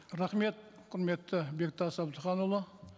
рахмет құрметті бектас әбдіханұлы